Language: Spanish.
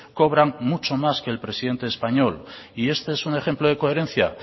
cobran mucho más que el presidente español y este es un ejemplo de coherencia